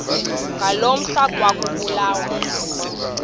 ngaloo mihla ekwakubulawa